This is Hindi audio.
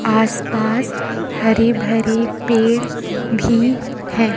आस पास हरे भरे पेड़ भी है।